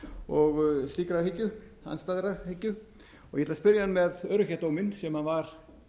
slíkrar hyggju andstæðrar hyggju ég ætla að spyrja hann með öryrkjadóminn sem var